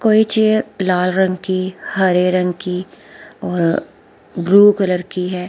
कोई चियर लाल रंग की हरे रंग की और ब्लू कलर की हैं।